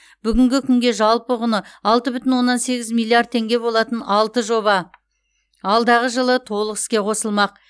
бүгінгі күнге жалпы құны алты бүтін оннан сегіз миллиард теңге болатын алты жоба алдағы жылы толық іске қосылмақ